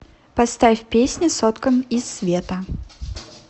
поставь песня соткан из света